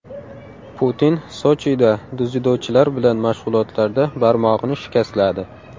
Putin Sochida dzyudochilar bilan mashg‘ulotlarda barmog‘ini shikastladi.